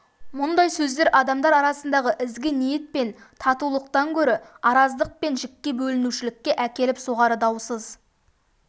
мұндай сөздер адамдар арасындағы ізгі ниет пен татулықтан көрі араздық пен жікке бөлінушілікке әкеліп соғары даусыз